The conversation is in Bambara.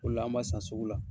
O le la an m'a san sugu la.